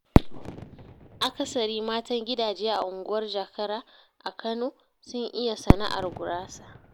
Akasari matan gidaje a unguwar Jakara a Kano, sun iya sana'ar gurasa.